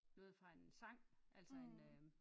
Noget fra en sang altså en øh